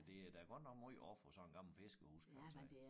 Men det er da godt nok måj at ofre på sådan gammel fiskerhus kan man sige